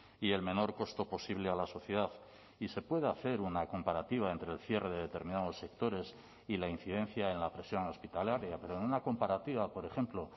y el menor costo posible a la sociedad y se puede hacer una comparativa entre el cierre de determinados sectores y la incidencia en la presión hospitalaria pero en una comparativa por ejemplo